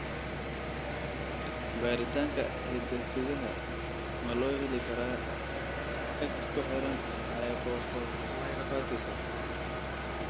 Baaritaanka hidde-sidaha ma loo heli karaa X ku xiran hypophosphatika?